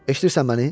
Eşidirsən məni?